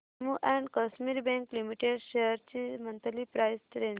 Jammu and Kashmir bank limited shares ची monthly price range